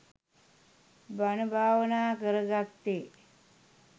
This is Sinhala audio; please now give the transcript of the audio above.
බණ භාවනා කරගත්තේ.